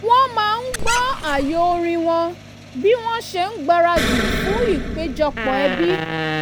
wọ́n máa ń gbọ́ ààyo orin wọn bí wọn ṣe ń gbaradì fún ìpéjọpọ̀ ẹbí